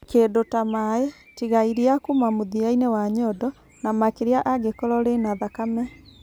Kĩndũ ta maĩ, tiga iria kuuma mũthia-inĩ wa nyondo, na makĩria angĩkorũo rĩ na thakame.